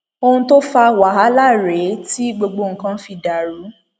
ohun tó fa wàhálà rèé tí gbogbo nǹkan fi dàrú